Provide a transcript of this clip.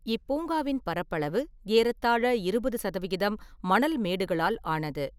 இப்பூங்காவின் பரப்பாளவு ஏறத்தாழ இருபது சதவிகிதம் மணல் மேடுகளால் ஆனது.